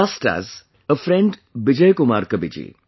Just as... a friend Bijay Kumar Kabiji